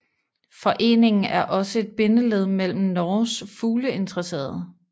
Foreningen er også et bindeled mellem Norges fugleinteresserede